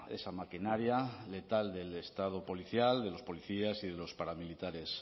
esa maquinaria letal del estado policial de los policías y de los paramilitares